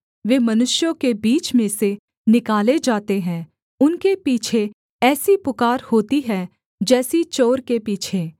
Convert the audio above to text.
वे मनुष्यों के बीच में से निकाले जाते हैं उनके पीछे ऐसी पुकार होती है जैसी चोर के पीछे